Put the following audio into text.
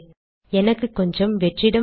எனக்கு கொஞ்சம் வெற்றிடம் வேண்டும்